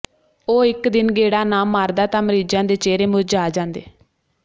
ਉਹ ਇੱਕ ਦਿਨ ਗੇੜਾ ਨਾ ਮਾਰਦਾ ਤਾਂ ਮਰੀਜ਼ਾਂ ਦੇ ਚਿਹਰੇ ਮੁਰਝਾ ਜਾਂਦੇ